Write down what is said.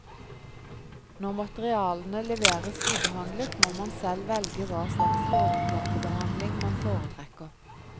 Når materialene leveres ubehandlet, må man selv velge hva slags overflatebehandling man foretrekker.